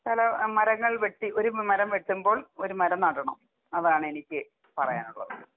കാലാ മരങ്ങൾ വെട്ടി ഒരു മ മരം വെട്ടുമ്പോൾ ഒരു മരം നടണം അതാണ് എനിക്ക് പറയാനുള്ളത്.